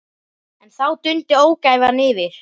En þá dundi ógæfan yfir.